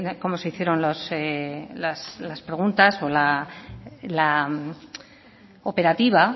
cómo se hicieron las preguntas o la operativa